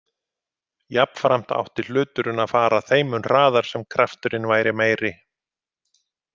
Jafnframt átti hluturinn að fara þeim mun hraðar sem kraft-urinn væri meiri.